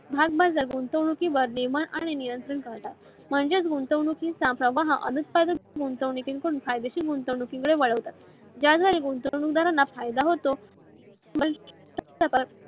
भागाबाजार नियमांवर व गुंतावनुकीवर नियंत्रण ठेवतात. म्हणजेच गुंतावनुकीचा फायदेशी गुंतवणुकी कडे वळवतात. ज्यामुळे गुंतवणूक दारांना फायदा होतो.